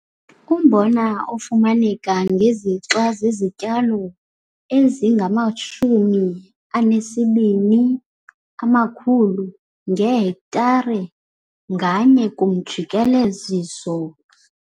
Umbona ofumaneka ngezixa zezityalo eziyi-22 000 ngehektare nganye kumjikeleziso